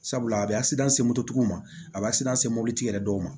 Sabula a bɛ se mototigiw ma a b'a se mobilitigi yɛrɛ dɔw ma